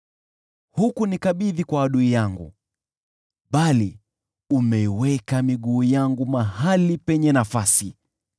Hukunikabidhi kwa adui yangu bali umeiweka miguu yangu mahali penye nafasi.